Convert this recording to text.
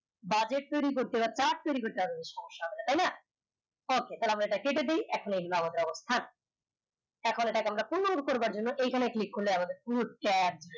budget তৈরি করতে সমস্যা নাই তাই না okay এটা আমরা কেটে দেয় থাক এখন আমরা জন্য এখানে click করলে আমাদের